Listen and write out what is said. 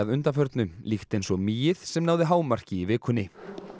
undanförnu líkt eins og mýið sem náði hámarki í vikunni